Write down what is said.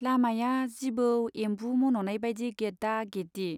लामाया जिबौ एम्बु मन'नाय बाइदि गेदा गेदि।